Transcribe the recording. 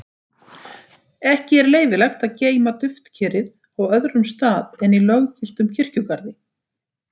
Ekki er leyfilegt að geyma duftkerið á öðrum stað en í löggiltum kirkjugarði.